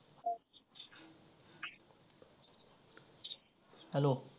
Hello